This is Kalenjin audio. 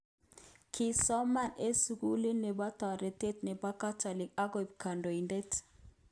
Kisoman eng sukulit nebotoretet nebo catholik akoik konetidet.